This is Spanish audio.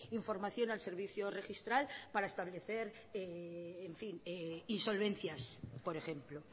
información al servicio registral para establecer insolvencias por ejemplo